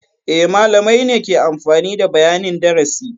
E, malamai ne ke amfani da bayanin darasi.